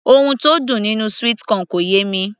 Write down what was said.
ohun tó dùn nínú sweet corn kò yé mi